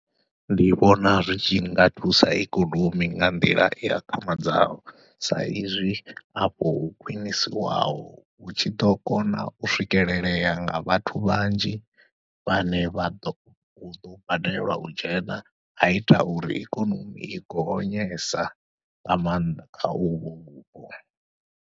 Ndi vhona zwi tshi nga thusa ikonomi nga nḓila i akhamadzaho, sa izwi afho ho khwiṋiswaho hu tshi ḓo kona u swikelelea nga vhathu vhanzhi vhane vha ḓo huḓo badelwa u dzhena, aita uri ikonomi i gonyesa nga maanḓa kha uvho vhupo.